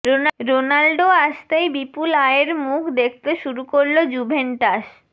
Ronaldo আসতেই বিপুল আয়ের মুখ দেখতে শুরু করল জুভেন্টাস